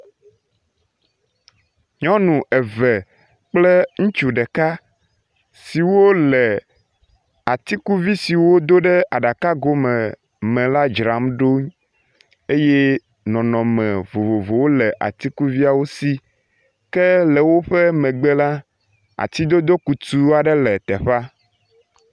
Nyɔnu eve kple ŋutsu ɖeka siwo le atikuvi siwo do ɖe aɖakago me l a dzram ɖo eye nɔnɔme vovovowo le atikuviawo si ke le woƒe megbe la ati dodo kutu aɖe le teƒea.